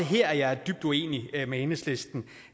her er jeg dybt uenig med enhedslisten i